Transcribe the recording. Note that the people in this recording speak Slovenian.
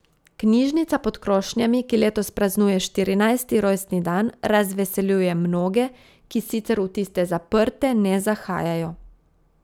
Knjižnica pod krošnjami, ki letos praznuje štirinajsti rojstni dan, razveseljuje mnoge, ki sicer v tiste zaprte ne zahajajo.